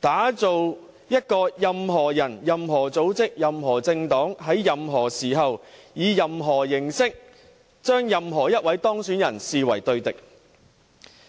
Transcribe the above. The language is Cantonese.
打造一個任何人、任何組織、任何政黨、在任何時候、以任何形式，將任何一位當選人視為對敵。